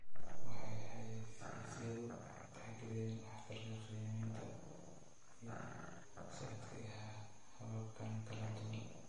Waxay xayaysiisyadu tixgeliyeen waxtarka-qiimaynta iyo saadka ee hababkan kala duwan.